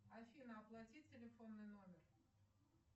афина оплати телефонный номер